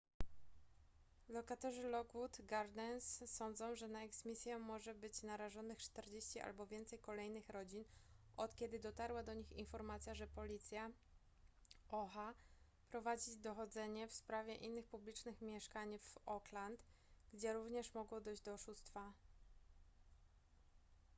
lokatorzy lockwood gardens sądzą że na eksmisję może być narażonych 40 albo więcej kolejnych rodzin od kiedy dotarła do nich informacja że policja oha prowadzi dochodzenie w sprawie innych publicznych mieszkań w oakland gdzie również mogło dojść do oszustwa